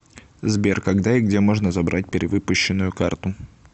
сбер когда и где можно забрать перевыпущенную карту